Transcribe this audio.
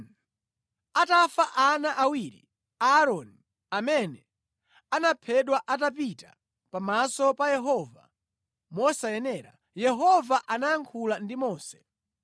Atafa ana awiri a Aaroni amene anaphedwa atapita pamaso pa Yehova mosayenera, Yehova anayankhula ndi Mose.